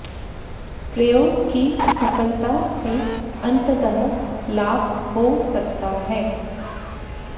प्रयोग की सफलता से अंततः लाभ हो सकता है